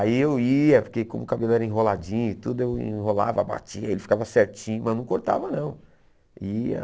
Aí eu ia, porque como o cabelo era enroladinho e tudo, eu enrolava, batia, ele ficava certinho, mas não cortava não. Ia